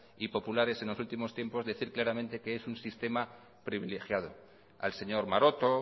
y populares en los últimos tiempos decir claramente que es un sistema privilegiado al señor maroto